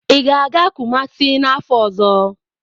Ị ga-aga Kumasi n'afọ ọzọ?